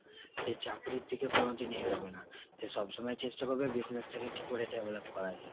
সে চাকরির দিকে কোনোদিনই এগোবে না। সে সবসময় চেষ্টা করবে business টাকে কী করে develop করা যায়।